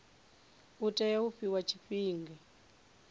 u tea u fhiwa tshifhinga